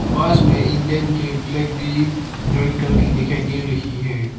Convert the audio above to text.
बस में इंडियन के फ्लैग भी ड्राइंग करके दिखाई दे रही है।